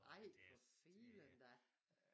Ej for filan da